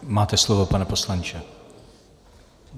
Máte slovo, pane poslanče.